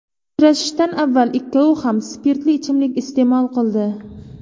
Uchrashishdan avval ikkovi ham spirtli ichimlik iste’mol qildi.